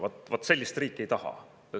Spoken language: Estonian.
Vaat sellist riiki ei taha!